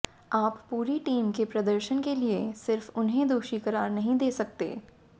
आप पूरी टीम के प्रदर्शन के लिए सिर्फ उन्हें दोषी करार नहीं दे सकते